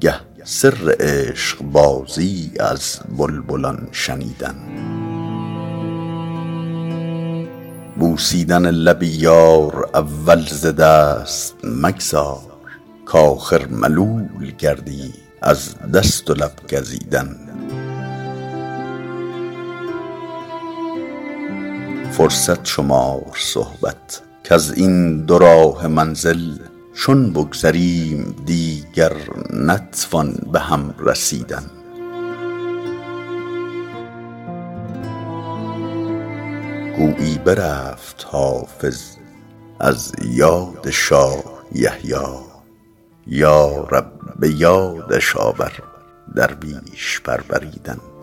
گه سر عشق بازی از بلبلان شنیدن بوسیدن لب یار اول ز دست مگذار کآخر ملول گردی از دست و لب گزیدن فرصت شمار صحبت کز این دوراهه منزل چون بگذریم دیگر نتوان به هم رسیدن گویی برفت حافظ از یاد شاه یحیی یا رب به یادش آور درویش پروریدن